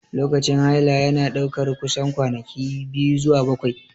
Lokacin haila yana ɗaukar kusan kwanaki 2 zuwa 7.